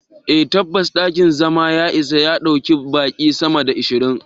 Eh tabbas dakin zama ya isa ya ɗauki baqi sama da ashirin.